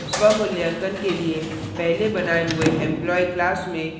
स्वमूल्यांकन के लिए पहले बनाए हुए employee class में